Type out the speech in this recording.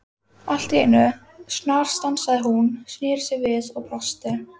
Allt í einu snarstansaði hún, snéri sér við og brosti.